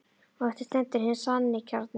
Og eftir stendur hinn sanni kjarni.